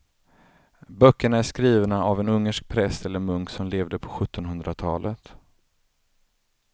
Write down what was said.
Böckerna är skrivna av en ungersk präst eller munk som levde på sjuttonhundratalet.